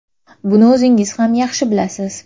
Buni o‘zingiz ham yaxshi bilasiz.